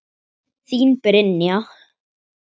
Þín, Brynja.